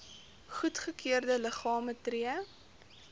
goedgekeurde liggame tree